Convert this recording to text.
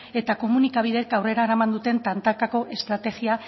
eta komunikabideek aurrera eraman duten tantakako estrategia